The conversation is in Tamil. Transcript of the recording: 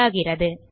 நல் ஆகிறது